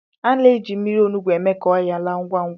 Ana-eji mmiri olugbu eme ka ọnyá laa ngwá ngwá.